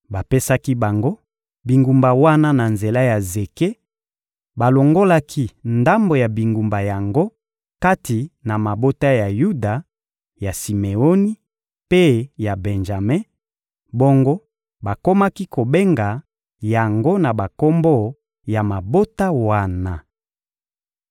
Bapesaki bango bingumba wana na nzela ya zeke: balongolaki ndambo ya bingumba yango kati na mabota ya Yuda, ya Simeoni mpe ya Benjame; bongo bakomaki kobenga yango na bakombo ya mabota wana.